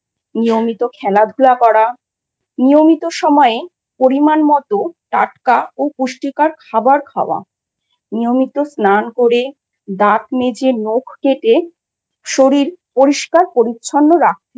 করা নিয়মিত খেলাধূলা করা নিয়মিত সময়ে পরিমাণমতো টাটকা ও পুষ্টিকর খাবার খাওয়া, নিয়মিত স্নান করে দাঁত মেজে নখ কেটে শরীর পরিষ্কার পরিচ্ছন্ন রাখতে হয়।